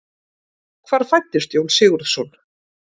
Hvar fæddist Jón Sigurðsson?